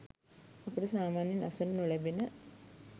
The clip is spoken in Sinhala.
අපට සාමාන්‍යයෙන් අසන්නට නො ලැබෙන